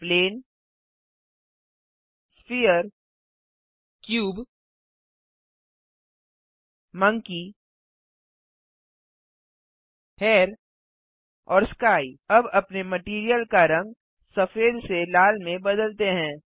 plane sphere cube monkey hair और sky अब अपने मटैरियल का रंग सफेद से लाल में बदलते हैं